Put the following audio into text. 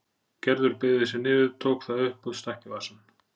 Gerður beygði sig niður, tók það upp og stakk í vasann.